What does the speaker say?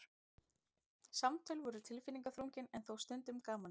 Samtöl voru tilfinningaþrungin en þó stundum gamansöm.